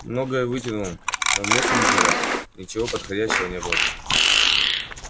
многое вытянул но в месседжах ничего подходящего не было